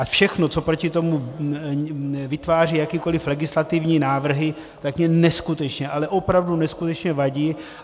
A všechno, co proti tomu vytváří jakékoli legislativní návrhy, tak mně neskutečně, ale opravdu neskutečně vadí.